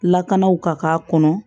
Lakanaw ka k'a kɔnɔ